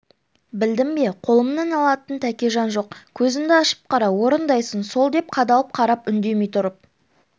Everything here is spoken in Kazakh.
білдің бе қолымнан алатын тәкежан жоқ көзіңді ашып қара орындайсың сол деп қадалып қарап үндемей тұрып